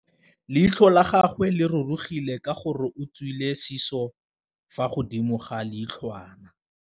Leitlhô la gagwe le rurugile ka gore o tswile sisô fa godimo ga leitlhwana.